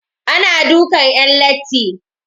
Ana dukan 'yan latti.